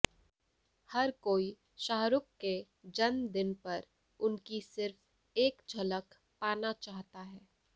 हर कोई शाहरुख के जन्मदिन पर उनकी सिर्फ एक झलक पाना चाहता है